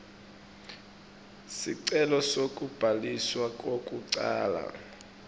sicelo sekubhaliswa kwekucala